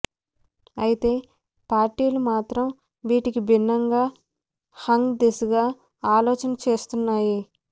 అయితే పార్టీలు మాత్రం వీటికి భిన్నంగా హంగ్ దిశగా ఆలోచన చేస్తున్నాయి